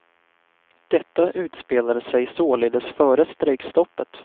Detta utspelade sig således före strejkstoppet.